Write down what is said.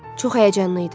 Çox həyəcanlı idi.